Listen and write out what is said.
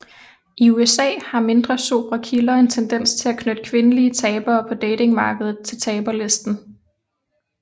I USA har mindre sobre kilder en tendens til at knytte kvindelige tabere på datingmarkedet til taberlisten